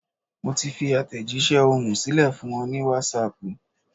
Mo ti fi àtẹ̀jísẹ́ ohùn sílẹ̀ fún ọ ní Wásaàpù